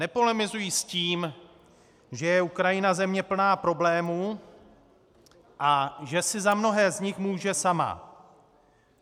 Nepolemizuji s tím, že je Ukrajina země plná problémů a že si za mnohé z nich může sama.